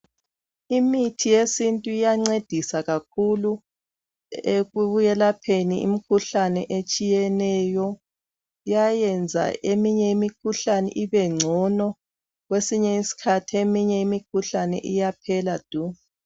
Imithi yesintu iyancedisa kakhulu ekwelapheni imikhuhlane etshiyeneyo iyayenza eminye imikhuhlane ibe ngcono kwesinye isikhathi eminye imikhuhlane iyaphela du.